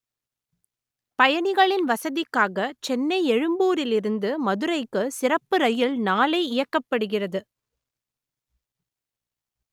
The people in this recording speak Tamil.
பய‌ணிக‌ளி‌ன் வச‌தி‌க்காக செ‌ன்னை எழு‌ம்பூ‌ரி‌ல் இரு‌ந்து மதுரை‌க்கு ‌சிற‌ப்பு ர‌யி‌ல் நாளை இய‌க்க‌ப்படு‌கிறது